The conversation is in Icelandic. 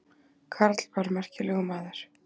Karl var merkilegur maður.